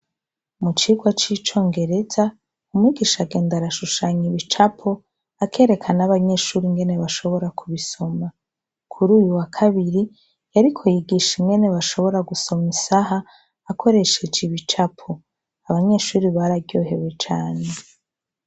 Mucirwa c'icongereza umwigisha agenda arashushany'ibicapo ,akereka n'abanyeshure ingene bashobora kubisoma, kuriyu wa kabiri yariko yigisga ingene bashobora gusoma isaha akoresheje ibicapo, abanyeshure baryohewe cane.